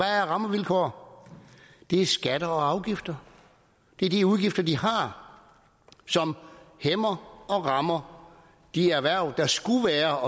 er rammevilkår det er skatter og afgifter det er de udgifter de har som hæmmer og rammer de erhverv der skulle være